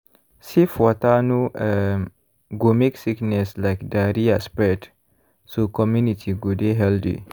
safe water no um go make sickness like diarrhea spread so community go dey healthy.